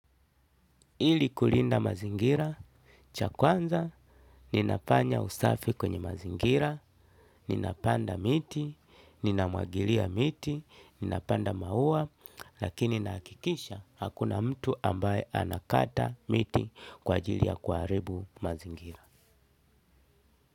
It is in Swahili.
Ili kulinda mazingira, cha kwanza, ninafanya usafi kwenye mazingira, ninapanda miti, ninamwagilia miti, ninapanda maua, lakini nahakikisha, hakuna mtu ambaye anakata miti kwa ajili ya kuharibu mazingira.